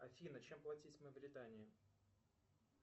афина чем платить в мавритании